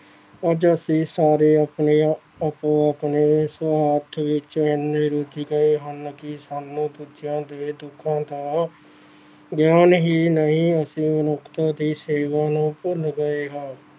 ਅੱਜ ਅਸੀਂ ਸਾਰੇ ਆਪਣੇ ਆਪੋ ਆਪਣੇ ਸਵਾਰਥ ਵਿੱਚ ਇੰਨੇ ਰੁੱਝ ਗਏ ਹਨ ਕਿ ਸਾਨੂੰ ਦੂਜਿਆਂ ਦੇ ਦੁੱਖਾਂ ਦਾ ਗਿਆਨ ਹੀ ਨਹੀਂ ਅਸੀਂ ਮਨੁੱਖਤਾ ਦੀ ਸੇਵਾ ਨੂੰ ਭੁੱਲ ਗਏ ਹਾਂ।